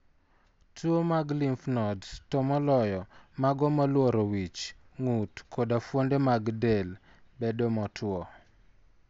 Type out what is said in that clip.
Tuwo mag lymph nodes, to moloyo mago molworo wich, ng'ut, koda fuonde mag del, bedo motuo.